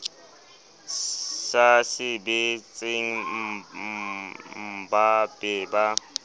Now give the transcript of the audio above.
sa sebetseng mmba be ba